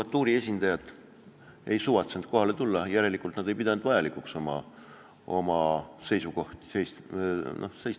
Advokatuuri esindajad ei suvatsenud kohale tulla, järelikult nad ei pidanud vajalikuks oma seisukohtade eest seista.